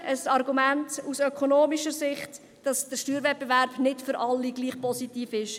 Hier ein Argument aus ökonomischer Sicht, das zeigt, dass der Steuerwettbewerb nicht für alle gleich positiv ist.